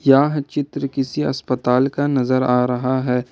यह चित्र किसी अस्पताल का नजर आ रहा है।